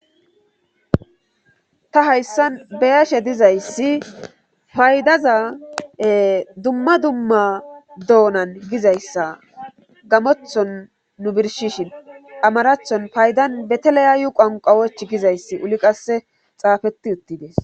Ta hayssan beyashe dizayssi paydaza dumma dumma doonan gizayssa gamothon nu birshishin amarathon paydan beteleyaayu qanqawoch gizayssi uli qasse xaafeti uttides.